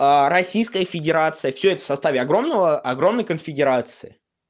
а российская федерация всё это в составе огромного огромной конфедерации